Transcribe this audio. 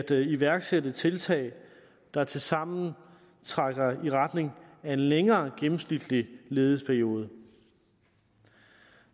iværksætte tiltag der tilsammen trækker i retning af en længere gennemsnitlig ledighedsperiode